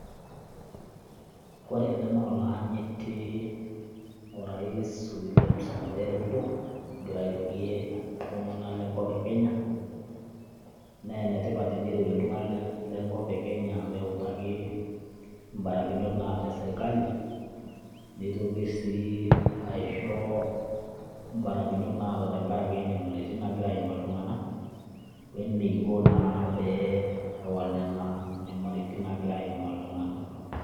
Ore ele naa oloyanyiti rais William Samoei Ruto egira irorie iltunganak lenkop e kenya . Nee enetipat teneirorie iltunganak lenkop e kenya peutaki mbarakinot naata eserkali , neitoki sii aisho mbarakinot naata tenkaraki nyamalitin nagira aimaa iltunganak weneiko naa tenewal nena nyamalitin nagira aimaa iltunganak .